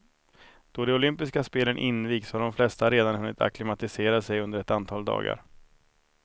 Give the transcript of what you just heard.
Då de olympiska spelen invigs har de flesta redan hunnit acklimatisera sig under ett antal dagar.